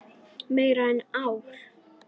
Meira en ár.